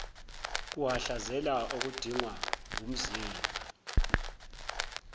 kuhhadlazela okudingwa ngumzimba